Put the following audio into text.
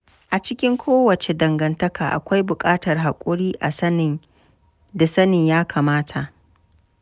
A cikin kowace dangantaka, akwai bukatar haƙuri da sanin yakamata.